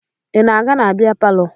Ị na-aga na bịa palọ?